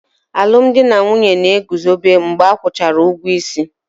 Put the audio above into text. Alụmdi na nwunye na-eguzobe mgbe a kwụchara ụgwọ isi